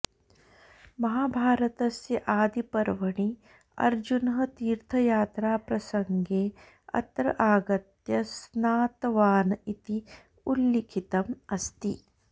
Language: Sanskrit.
महाभारतस्य आदिपर्वणि अर्जुनः तीर्थयात्राप्रसङ्गे अत्र आगत्य स्नातवान् इति उल्लिखितम् अस्ति